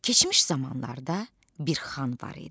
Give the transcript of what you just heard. Keçmiş zamanlarda bir xan var idi.